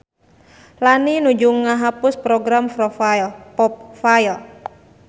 Lani nuju ngahapus program popfile